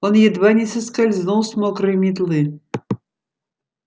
он едва не соскользнул с мокрой метлы